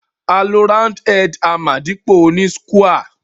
A lo round head hammer dípò oní square